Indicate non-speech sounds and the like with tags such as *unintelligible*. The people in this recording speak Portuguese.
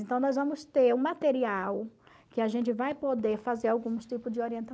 Então, nós vamos ter o material que a gente vai poder fazer algum *unintelligible*